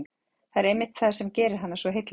Það er einmitt það sem gerir hana svo heillandi.